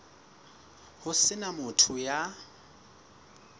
ho se na motho ya